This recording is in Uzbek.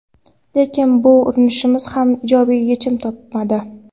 Lekin bu urinishimiz ham ijobiy yechim topmadi.